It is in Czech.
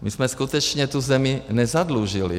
My jsme skutečně tu zemi nezadlužili.